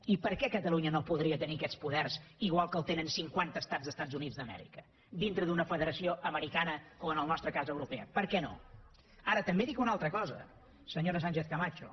i per què catalunya no podria tenir aquests poders igual que els tenen cinquanta estats dels estats units d’amèrica dintre d’una federació americana o en el nostre cas europea per què no ara també dic una altra cosa senyora sánchez camacho